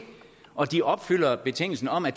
og de opfylder betingelsen om at